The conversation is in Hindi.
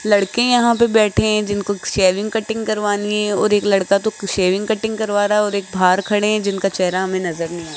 लड़के यहां पे बैठे हैं जिनको सेविंग कटिंग करवानी है और एक लड़का तो सेविंग कटिंग करवा रहा है और एक बाहर खड़े हैं जिनका चेहरा में नजर नहीं आ रहा --